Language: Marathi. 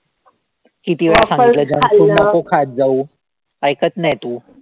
किती वेळा सांगितलं junk food नको खात जाऊ. ऐकत नाही तू.